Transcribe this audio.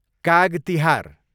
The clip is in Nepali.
काग तिहार